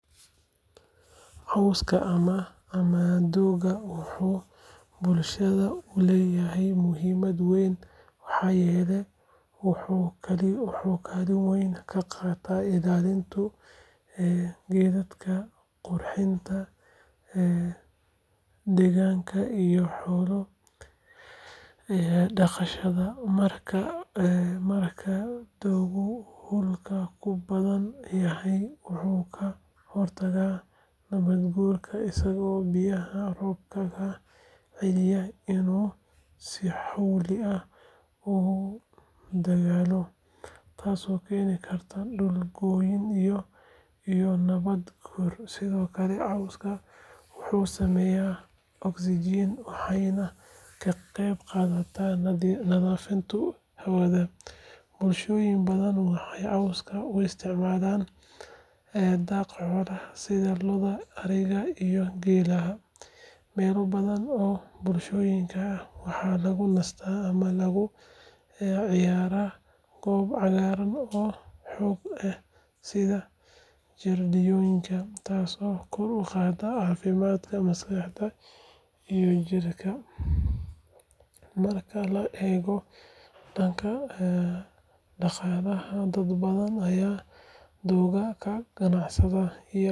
Cawska ama doogga wuxuu bulshada u leeyahay muhiimad weyn maxaa yeelay wuxuu kaalin weyn ka qaataa ilaalinta deegaanka, qurxinta deegaanka iyo xoolo dhaqashada. Marka dooggu dhulka ku badan yahay, wuxuu ka hortagaa nabaad guurka isagoo biyaha roobka ka celinaya inuu si xowli ah u daadago, taasoo keeni karta dhul go’ iyo nabaad guur. Sidoo kale cawska wuxuu sameeyaa oksijiin waxayna ka qeyb qaadataa nadiifinta hawada. Bulshooyin badan waxay cawska u isticmaalaan daaq xoolaha sida lo’da, ariga iyo geela. Meelo badan oo bulshooyinka ah waxaa lagu nastaa ama lagu ciyaaraa goobo cagaaran oo doog leh sida jardiinooyinka, taasoo kor u qaadda caafimaadka maskaxda iyo jirka. Marka la eego dhanka dhaqaalaha, dad badan ayaa doogga ka ganacsada.